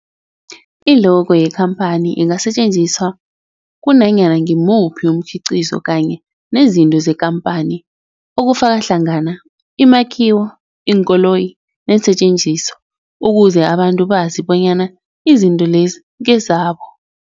I-logo yekhamphani ingasetjenziswa kunanyana ngimuphi umkhiqizo kanye nezinto zekhamphani okufaka hlangana imakhiwo, iinkoloyi neensentjenziswa ukuze abantu bazi bonyana izinto lezo ngezabo.